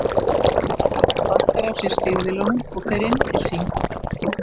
Júlía sparkar af sér stígvélunum og fer inn til sín.